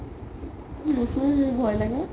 নোচো মৰ ভই লাগে